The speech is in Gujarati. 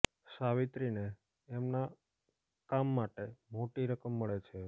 સાવિત્રીને એમના કામ માટે મોટી રકમ મળે છે